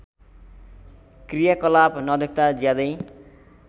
क्रियाकलाप नदेख्दा ज्यादै